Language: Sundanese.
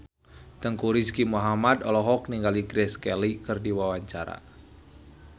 Teuku Rizky Muhammad olohok ningali Grace Kelly keur diwawancara